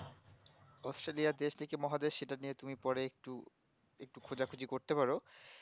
Australia দেশ নাকি মহাদেশ সেটা নিয়ে তুমি পরে একটু খোঁজাখুঁজি করতে পারো